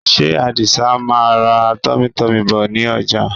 Ṣé Àdìsa máa ra tummytummy bọ̀ ní ọjà?